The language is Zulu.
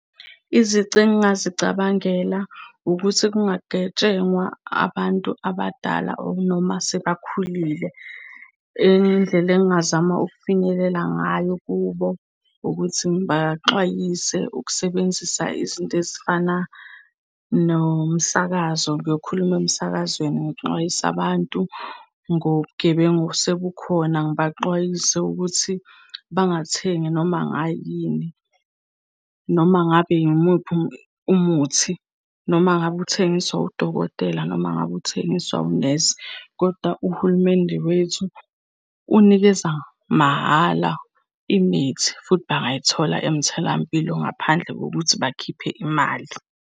Izici engingazicabangela ukuthi kungagetshengwa abantu abadala, or noma sebakhulile. Enye indlela engingazama ukufinyelela ngayo kubo, ukuthi ngibaxwayise ukusebenzisa izinto ezifana nomsakazo. Ngiyokhuluma emsakazweni ngixwayise abantu ngobugebengu osebukhona, ngibaxwayise ukuthi bangathengi noma ngayini, noma ngabe yimuphi umuthi, noma ngabe uthengiswa udokotela, noma ngabe uthengiswa unesi. Koda uhulumende wethu unikeza mahhala imithi, futhi bangayithola emtholampilo ngaphandle kokuthi bakhiphe imali.